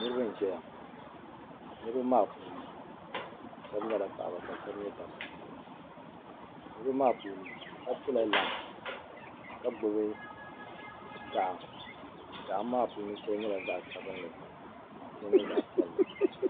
Niriba n ʒɛya niriba maa puuni sheba nyɛla paɣaba ka sheba nyɛ dabba niriba maa puuni sheba piɛla lai ka gbibi gaɣa gaɣa maa puuni sheli nyɛla zaɣa sabinli ka sheli nyɛ zaɣa piɛlli.